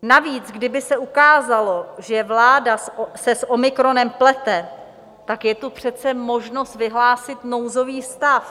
Navíc kdyby se ukázalo, že vláda se s omikronem plete, tak je tu přece možnost vyhlásit nouzový stav.